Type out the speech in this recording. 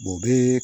o bɛ